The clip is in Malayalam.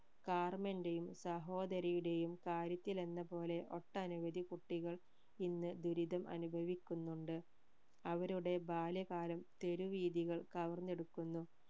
കാർമെന്റെയും സഹോദരിയുടെയും കാര്യത്തിലെന്ന പോലെ ഒട്ടനവധി കുട്ടികൾ ഇന്ന് ദുരിതം അനുഭവിക്കുന്നുണ്ട് അവരുടെ ബാല്യകാലം തെരു വീഥികൾ കവർന്നെടുക്കുന്നു